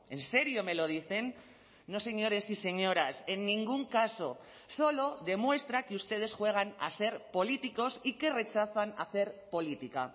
en serio me lo dicen no señores y señoras en ningún caso solo demuestra que ustedes juegan a ser políticos y que rechazan hacer política